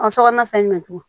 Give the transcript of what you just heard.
A sokɔnɔna fɛn jumɛn